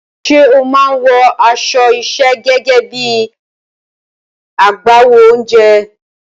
Ṣé o máa ń wọ aṣọ iṣẹ́ gẹ́gẹ́ bí i agbáwo oúnjẹ?